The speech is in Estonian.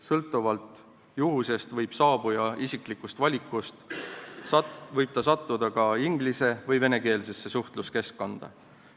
Sõltuvalt juhusest või saabuja isiklikust valikust võib ta sattuda ka inglis- või venekeelsesse suhtluskeskkonda.